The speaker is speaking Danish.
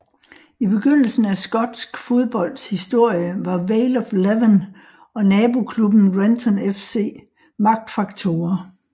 I begyndelsen af skotsk fodbolds historie var Vale of Leven og naboklubben Renton FC magtfaktorer